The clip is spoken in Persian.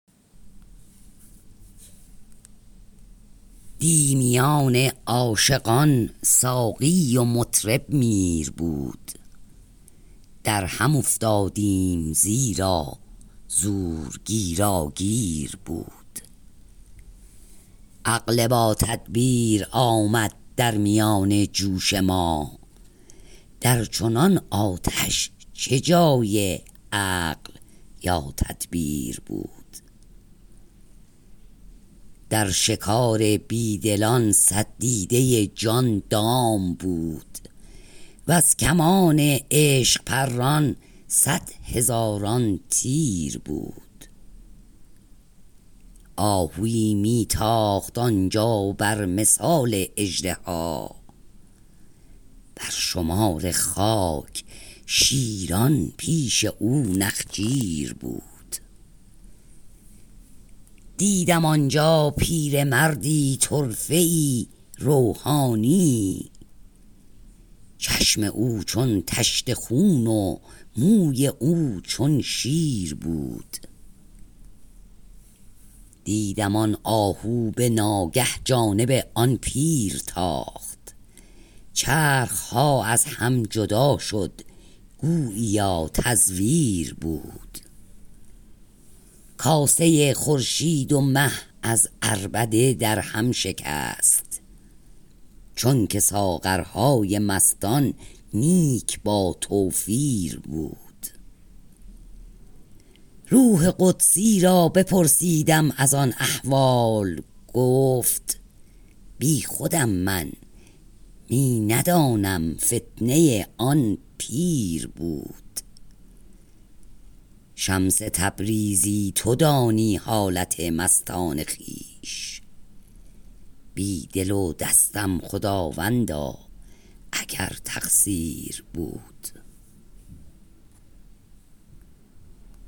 دی میان عاشقان ساقی و مطرب میر بود در هم افتادیم زیرا زور گیراگیر بود عقل باتدبیر آمد در میان جوش ما در چنان آتش چه جای عقل یا تدبیر بود در شکار بی دلان صد دیده جان دام بود وز کمان عشق پران صد هزاران تیر بود آهوی می تاخت آن جا بر مثال اژدها بر شمار خاک شیران پیش او نخجیر بود دیدم آن جا پیرمردی طرفه ای روحانیی چشم او چون طشت خون و موی او چون شیر بود دیدم آن آهو به ناگه جانب آن پیر تاخت چرخ ها از هم جدا شد گوییا تزویر بود کاسه خورشید و مه از عربده درهم شکست چونک ساغرهای مستان نیک باتوفیر بود روح قدسی را بپرسیدم از آن احوال گفت بیخودم من می ندانم فتنه آن پیر بود شمس تبریزی تو دانی حالت مستان خویش بی دل و دستم خداوندا اگر تقصیر بود